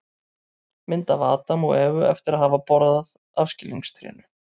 Mynd af Adam og Evu eftir að hafa borðað af skilningstrénu.